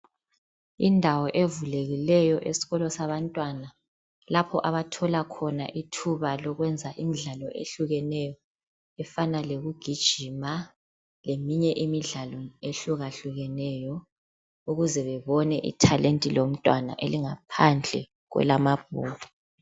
Indawo evulekileyo esikolo sabantwana lapho abathola khona ithuba lokwenza imdlalo ehlukeneyo efana lokugijima leminye imidlalo ehlukeneyo ukuze babone ithalenti lomntwana elingaphandle kwamabhuku.